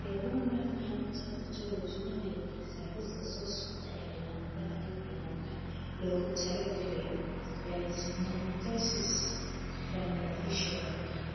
The Human Phenotype Ontology waxay bixisaa liiska soo socda ee calaamadaha iyo calaamadaha loogu talagalay dyssynostosis Craniofacial.